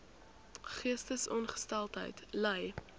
geestesongesteldheid ly